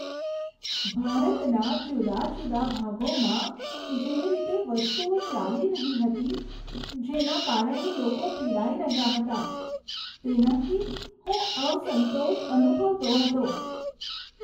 ભારતના જુદા જુદા ભાગોમાં જે રીતે વસ્તુઓ ચાલી રહી હતી જેના કારણે લોકો પીડાઈ રહ્યા હતા તેનાથી હું અસંતોષ અનુભવતો હતો.